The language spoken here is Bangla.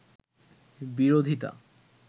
বিরোধিতা